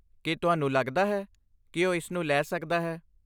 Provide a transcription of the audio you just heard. ਕੀ ਤੁਹਾਨੂੰ ਲਗਦਾ ਹੈ ਕਿ ਉਹ ਇਸ ਨੂੰ ਲੈ ਸਕਦਾ ਹੈ?